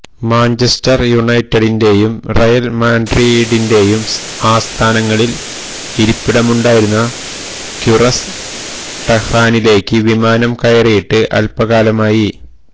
Manchester യുനൈറ്റഡിന്റെയും Real മാഡ്രിഡിന്റെയും ആസ്ഥാനങ്ങളില് ഇരിപ്പിടമുണ്ടായിരുന്ന ക്വിറസ് ടെഹ്റാനിലേക്ക് വിമാനം കയറിയിട്ട് അല്പ്പകാലമായി